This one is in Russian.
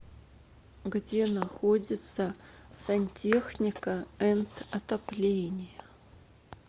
где находится сантехника энд отопление